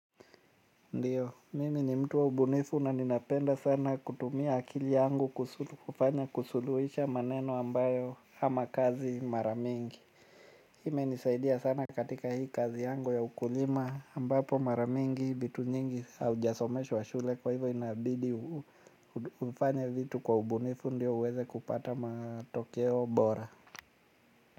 Ndiyo, mimi ni mtu wa ubunifu na ninapenda sana kutumia akili yangu kufanya kusuluhisha maneno ambayo ama kazi mara mingi. Hii imenisaidia sana katika hii kazi yangu ya ukulima ambapo mara mingi vitu nyingi haujasomeshwa shule kwa hivo inabidi ufanye vitu kwa ubunifu ndio uweze kupata matokeo bora.